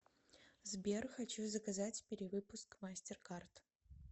сбер хочу заказать перевыпуск мастер карт